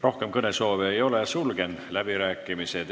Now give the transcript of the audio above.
Rohkem kõnesoove ei ole, sulgen läbirääkimised.